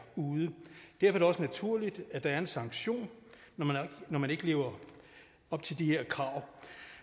ude det er vel også naturligt at der er en sanktion når man ikke lever op til de her krav